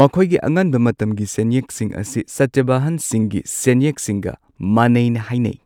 ꯃꯈꯣꯏꯒꯤ ꯑꯉꯟꯕ ꯃꯇꯝꯒꯤ ꯁꯦꯟꯌꯦꯛꯁꯤꯡ ꯑꯁꯤ ꯁꯇꯚꯥꯍꯟꯁꯤꯡꯒꯤ ꯁꯦꯟꯌꯦꯛꯁꯤꯡꯒ ꯃꯥꯟꯅꯩꯅ ꯍꯥꯏꯅꯩ꯫